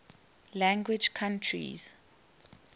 language countries